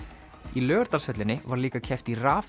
í Laugardalshöllinni var líka keppt í